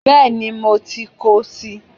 Béeni mo ti kóo si